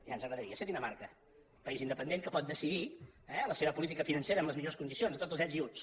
ja ens agradaria ser dinamarca país independent que pot decidir la seva política financera en les millors condicions amb tots els ets i uts